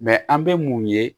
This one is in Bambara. an bɛ mun ye